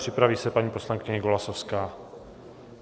Připraví se paní poslankyně Golasowská.